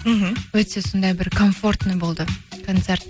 мхм өте сондай бір комфортный болды концерт